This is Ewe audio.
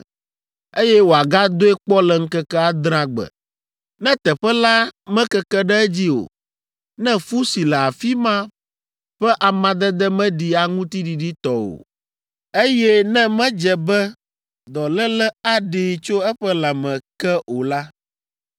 eye wòagadoe kpɔ le ŋkeke adrea gbe. Ne teƒe la mekeke ɖe edzi o, ne fu si le afi ma ƒe amadede meɖi aŋuti ɖiɖi tɔ o, eye ne medze be dɔléle aɖee tso eƒe lãme ke o la,